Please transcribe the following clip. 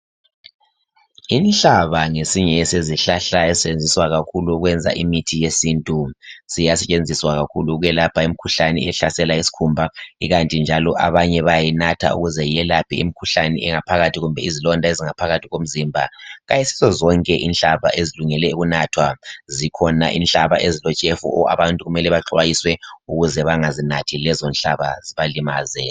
Inhlaba ngesinye sezihlahla ezisetshenziswa kakhulu ukwenza imithi yesintu. Siyasetshenziswa kakhulu ukwelapha imikhuhlane ehlasela isikhumba kukanti njalo abanye bayayinatha ukwelapha imikhuhlane engaphakathi kumbe izilonda ezingaphakathi komzimba. Ayisizo zonke inhlaba ezilungele ukunathwa, zikhona inhlaba ezilotshefu abantu kumele baxwayiswe ukuze bengazinathi lezonhlaba zibalimaze.